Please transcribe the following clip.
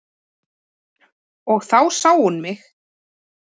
Og þá sá hún mig.